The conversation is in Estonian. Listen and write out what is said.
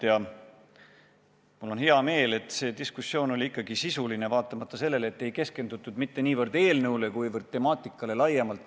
Ja mul on hea meel, et see diskussioon oli ikkagi sisuline, vaatamata sellele, et ei keskendutud mitte niivõrd eelnõule, kuivõrd temaatikale laiemalt.